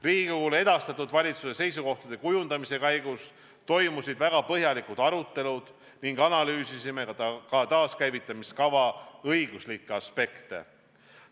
Riigikogule edastatud valitsuse seisukohtade kujundamise käigus toimusid väga põhjalikud arutelud ning analüüsisime ka taaskäivitamise kava õiguslikke aspekte.